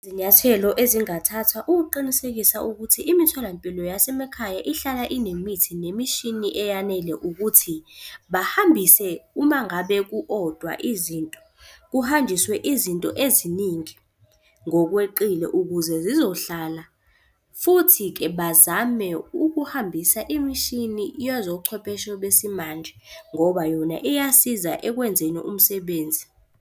Izinyathelo ezingathathwa ukuqinisekisa ukuthi imitholampilo yasemakhaya ihlala inemithi nemishini eyanele ukuthi, bahambise uma ngabe ku odwa izinto, kuhanjiswe izinto eziningi ngokweqile ukuze zizohlala. Futhi-ke bazame ukuhambisa imishini yezobuchwepheshe besimanje ngoba yona iyasiza ekwenzeni umsebenzi.